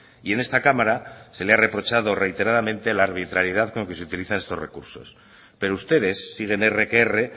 y en esta cámara se le ha reprochado reiteradamente la arbitrariedad con que se utilizan estos recursos pero ustedes siguen erre que erre